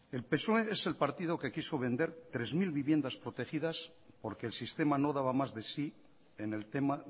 el psoe es el partido que quiso vender tres mil viviendas protegidas porque el sistema no daba más de sí en el tema